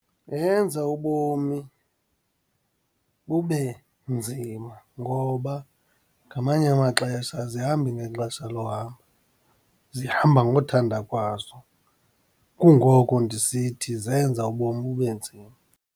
Yenza ubomi bube nzima ngoba ngamanye amaxesha azihambi ngexesha lohamba, zihamba ngothanda kwazo, kungoko ndisithi zenza ubomi bube nzima.